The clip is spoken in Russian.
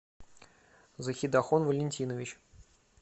захидахон валентинович